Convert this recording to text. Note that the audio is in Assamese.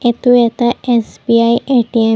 এইটো এটা এছ_বি_আই এ_টি_এম ।